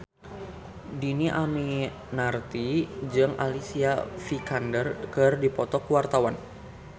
Dhini Aminarti jeung Alicia Vikander keur dipoto ku wartawan